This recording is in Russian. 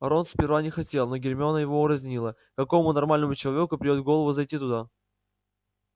рон сперва не хотел но гермиона его урезонила какому нормальному человеку придёт в голову зайти туда